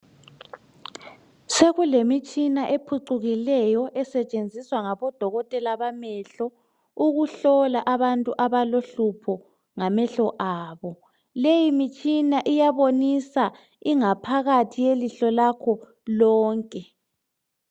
Sekulemitshina ephucukileyo esetshenziswa ngodokotela bamehlo ukuhlola abantu abalohlupho ngamehlo abo. Leyi mitshina iyabonisa ingaphakathi yelihlo lakho lonke.